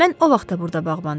Mən o vaxtı burda bağban idim.